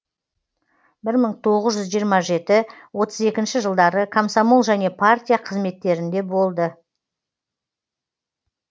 бір мың тоғыз жүз жиырма жеті отыз екінші жылдары комсомол және партия қызметтерінде болды